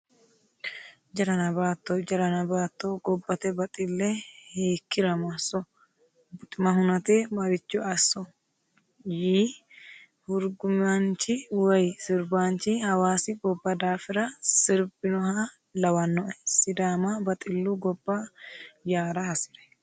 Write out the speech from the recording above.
Jarana baatto jaranna baatto gobbate baxile hiikkira masso buxima hunate marcho asso yii hurgumanchi woyi sirbanchi hawaasi gobba daafira sirbinoha lawanoe, sidaama baxilu gobba yaara hasire.